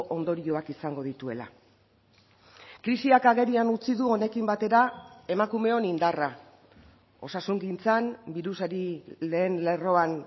ondorioak izango dituela krisiak agerian utzi du honekin batera emakumeon indarra osasungintzan birusari lehen lerroan